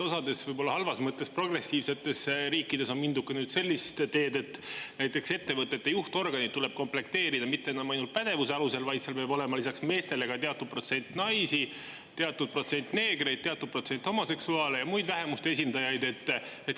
Osades, võib-olla halvas mõttes progressiivsetes riikides on mindud sellist teed, et näiteks ettevõtete juhtorganid tuleb komplekteerida mitte enam ainult pädevuse alusel, vaid seal peab olema lisaks meestele ka teatud protsent naisi, teatud protsent neegreid, teatud protsent homoseksuaale ja muid vähemuste esindajaid.